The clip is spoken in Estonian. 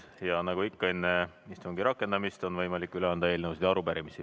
Ja nagu ikka enne istungi rakendamist, on võimalik üle anda eelnõusid ja arupärimisi.